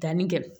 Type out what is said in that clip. Danni kɛ